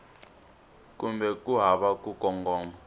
kumbe ku hava ku kongoma